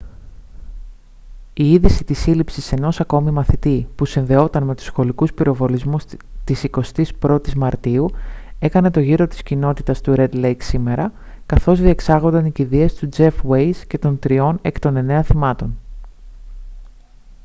η είδηση της σύλληψης ενός ακόμη μαθητή που συνδεόταν με τους σχολικούς πυροβολισμούς της 21η μαρτίου έκανε τον γύρο της κοινότητας του ρεντ λέικ σήμερα καθώς διεξάγονταν οι κηδείες του τζεφ ουέιζ και των τριών εκ των εννέα θυμάτων